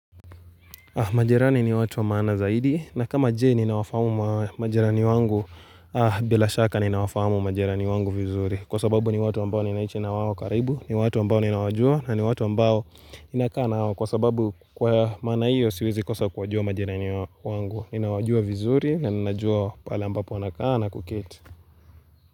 Majerani ni watu wa maana zaidi na kama jee ninawafahamu majerani wangu bila shaka ninawafahamu majerani wangu vizuri kwa sababu ni watu ambao ninaishi nawao wakaribu ni watu ambao ninawajua na ni watu ambao ninaka nao kwa sababu kwa maana hiyo siwezi kosa kuwajua majerani wangu ninawajua vizuri na ninajua pale ambapo wanakana kuketi.